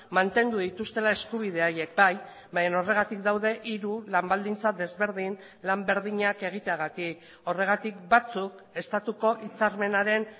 mantendu dituztela eskubidea haiek bai baina horregatik daude hiru lan baldintza desberdin lan berdinak egiteagatik horregatik batzuk estatuko hitzarmenaren